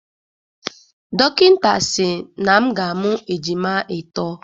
Dọkịta si na m ga-amụ ejima itọ